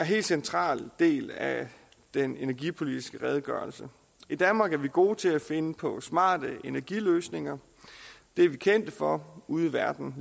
helt central del af den energipolitiske redegørelse i danmark er vi gode til at finde på smarte energiløsninger det er vi kendte for ude i verden